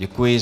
Děkuji.